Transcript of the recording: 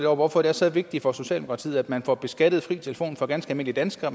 over hvorfor det er så vigtigt for socialdemokratiet at man får beskattet fri telefon for ganske almindelige danskere